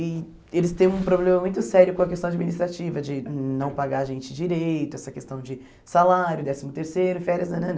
E eles têm um problema muito sério com a questão administrativa, de não pagar a gente direito, essa questão de salário, décimo terceiro, férias, nanana.